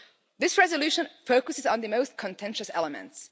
This resolution focuses on the most contentious elements.